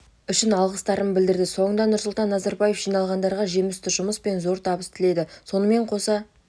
үшін алғыстарын білдірді соңында нұрсұлтан назарбаев жиналғандарға жемісті жұмыс пен зор табыс тіледі сонымен қоса